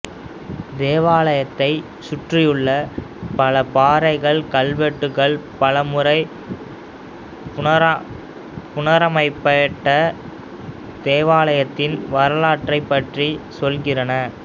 தேவாலயத்தைச் சுற்றியுள்ள பல பாறை கல்வெட்டுகள் பல முறை புனரமைக்கப்பட்ட தேவாலயத்தின் வரலாற்றைப் பற்றி சொல்கின்றன